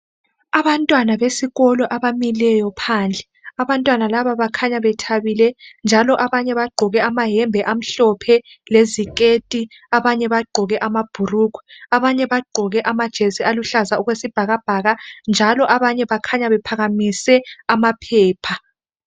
Abantwana besikolo abamileyo phandle abantwana laba bakhanya bethabile njalo abanye bagqoke amayembe amhlophe leziketi abanye bagqoke amabhurugwe abanye bagqoke amajesi aluhlaza okwesibhakabhaka njalo abanye bakhanya bephakamise amaphepha.